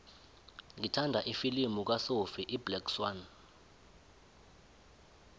ngithanda ifilimu kasophie iblack swann